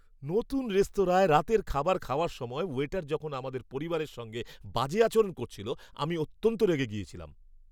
নতুন রেস্তোরাঁয় রাতের খাবার খাওয়ার সময় ওয়েটার যখন আমাদের পরিবারের সঙ্গে বাজে আচরণ করছিল, আমি অত্যন্ত রেগে গিয়েছিলাম।